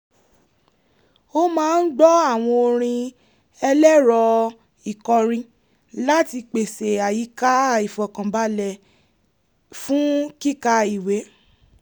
ó máa ń gbọ́ àwọn orin ẹlẹ́rọ-ìkọrin láti pèsè àyíká ìfọkànbalẹ̀ lfún kíka ìwé